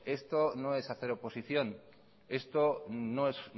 esto no es hacer oposición esto no es